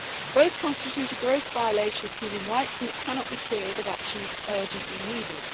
Both constitute a gross violation of human rights and it cannot be clearer that action is urgently needed.